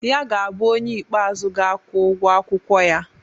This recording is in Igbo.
Ya ga-abụ onye ikpeazụ ga-akwụ ụgwọ akwụkwọ ya.